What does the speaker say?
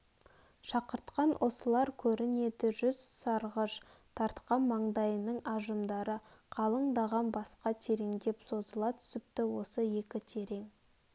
шақыртқан осылар көрнеді жүз сарғыш тартқан маңдайының ажымдары қалыңдағаннан басқа тереңдеп созыла түсіпті осы екі терең